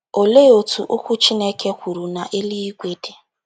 Olee otú Okwu Chineke kwuru na eluigwe dị?